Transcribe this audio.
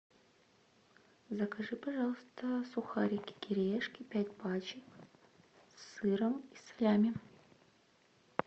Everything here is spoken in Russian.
закажи пожалуйста сухарики кириешки пять пачек с сыром и салями